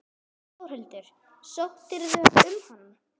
Þórhildur: Sóttirðu um hana?